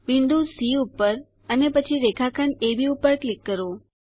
બિંદુ સી ઉપર અને પછી રેખાખંડ અબ ઉપર ક્લિક કરો